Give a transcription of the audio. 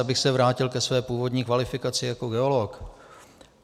Abych se vrátil ke své původní kvalifikaci jako geolog.